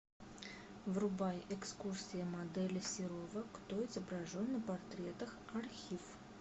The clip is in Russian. врубай экскурсия модели серова кто изображен на портретах архив